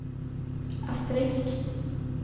asterisk